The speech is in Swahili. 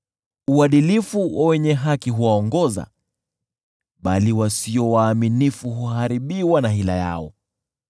Uadilifu wa wenye haki huwaongoza, bali wasio waaminifu huharibiwa na hila yao.